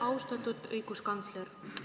Austatud õiguskantsler!